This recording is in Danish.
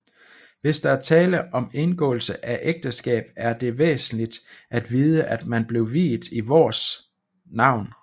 Hvis der er tale om indgåelse af ægteskab er det væsentligt at vide at man blev viet i Vårs navn